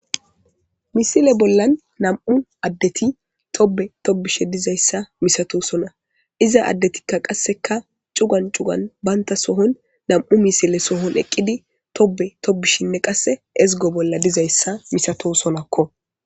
Misile bollan nam'u addeti tobe tobishe dizayssa misato sona iza addetikka qasseka cugan cugan baynta sohon nam'u misile sohon eqqidi tobe tobishinne qasse ezgo bolla dizayssa misato sonakko